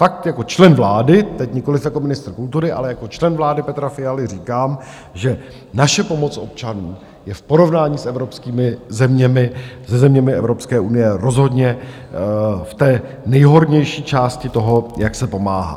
Fakt jako člen vlády teď, nikoliv jako ministr kultury, ale jako člen vlády Petra Fialy říkám, že naše pomoc občanům je v porovnání s evropskými zeměmi, se zeměmi Evropské unie rozhodně v té nejhornější části toho, jak se pomáhá.